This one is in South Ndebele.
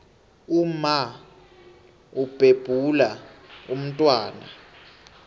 umma ubhebhula umntwana